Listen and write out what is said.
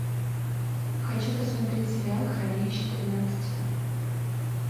хочу посмотреть сериал хранилище тринадцать